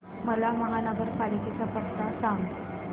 मला महापालिकेचा पत्ता सांग